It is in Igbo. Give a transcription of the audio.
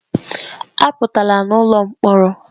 Apụtala n'ụlọ mkpọrọ!